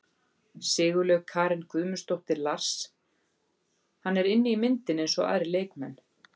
Sigurlaug Karen Guðmundsdóttir Lars: Hann er inni í myndinni eins og aðrir leikmenn.